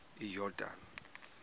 iyordane